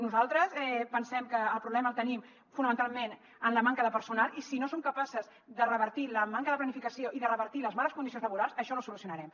nosaltres pensem que el problema el tenim fonamentalment en la manca de personal i si no som capaces de revertir la manca de planificació i de revertir les males condicions laborals això no ho solucionarem